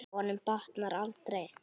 Honum batnar aldrei.